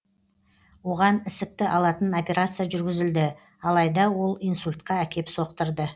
оған ісікті алатын операция жүргізілді алайда ол инсультқа әкеп соқтырды